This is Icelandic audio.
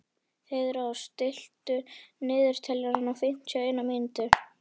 Heiðrós, stilltu niðurteljara á fimmtíu og eina mínútur.